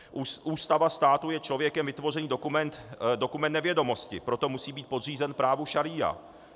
Ústava státu je člověkem vytvořený dokument nevědomosti, proto musí být podřízen právu šaría.